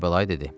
Kərbəlayı dedi: